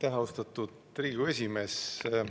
Aitäh, austatud Riigikogu esimees!